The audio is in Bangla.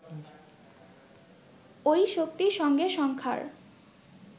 ওই শক্তির সঙ্গে সংখ্যার